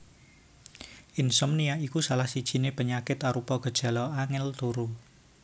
Insomnia iku salah sijiné penyakit arupa gejala angèl turu